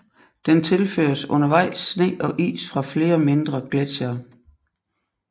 Den tilføres undervejs sne og is fra flere mindre gletsjere